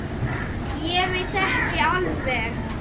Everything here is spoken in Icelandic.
Ég veit ekki alveg.